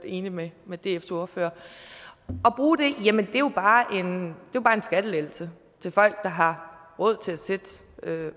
enig med dfs ordfører er jo bare en skattelettelse til folk der har råd til at sætte